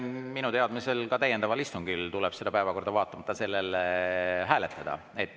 Minu teadmisel tuleb ka täiendaval istungil päevakorda hääletada.